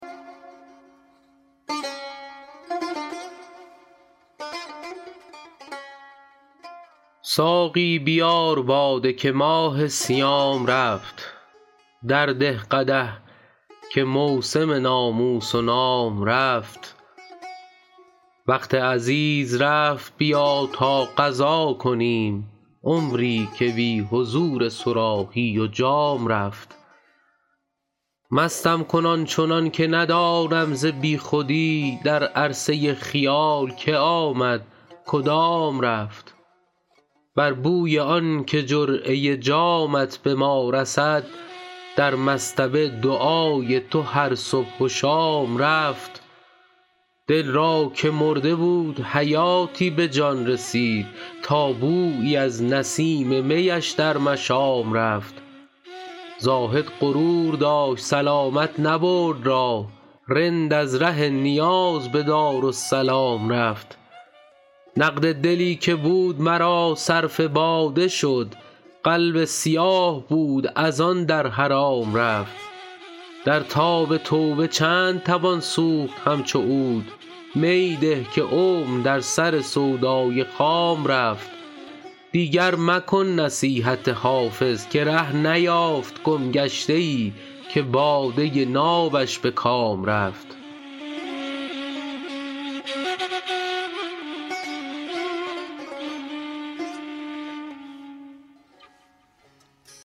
ساقی بیار باده که ماه صیام رفت درده قدح که موسم ناموس و نام رفت وقت عزیز رفت بیا تا قضا کنیم عمری که بی حضور صراحی و جام رفت مستم کن آن چنان که ندانم ز بی خودی در عرصه خیال که آمد کدام رفت بر بوی آن که جرعه جامت به ما رسد در مصطبه دعای تو هر صبح و شام رفت دل را که مرده بود حیاتی به جان رسید تا بویی از نسیم می اش در مشام رفت زاهد غرور داشت سلامت نبرد راه رند از ره نیاز به دارالسلام رفت نقد دلی که بود مرا صرف باده شد قلب سیاه بود از آن در حرام رفت در تاب توبه چند توان سوخت همچو عود می ده که عمر در سر سودای خام رفت دیگر مکن نصیحت حافظ که ره نیافت گمگشته ای که باده نابش به کام رفت